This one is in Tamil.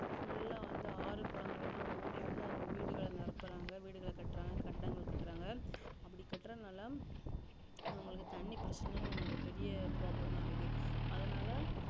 full ஆ வந்து ஆறு குளங்கள் எல்லாம் மூடி வந்து அவங்க வந்து வீடுகலா நிரப்புரங்கா வீடுகளாகட்டுறாங்க கட்டிடங்களா கட்றாங்க அப்டி கட்டுரதனால அவங்களுக்கு தண்ணி பிரச்சினைபெரிய problem ஆ இருக்குது அதுனால